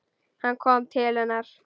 Hann kom til hennar.